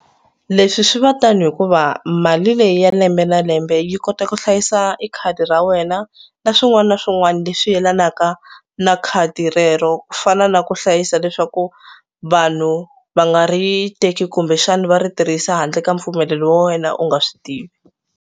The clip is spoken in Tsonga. Leswi swi va tani hikuva mali leyi ya lembe na lembe yi kota ku hlayisa i khadi ra wena na swin'wana na swin'wana leswi yelanaka na khadi rero ku fana na ku hlayisa leswaku vanhu va nga ri teki kumbexana va ri tirhisa handle ka mpfumelelo wa wena u nga swi tivi.